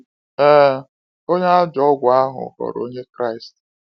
Ee, onye a ajọ ọgwụ ahụ ghọrọ Onye Kraịst.